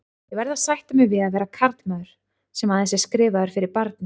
Ég verð að sætta mig við að vera karlmaður, sem aðeins er skrifaður fyrir barni.